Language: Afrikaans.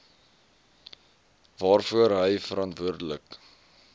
waarvoor hy verantwoordelik